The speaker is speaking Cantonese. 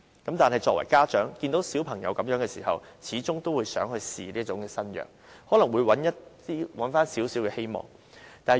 然而，作為家長的，看到子女的情況，始終都想嘗試這種新藥，以尋求一絲希望。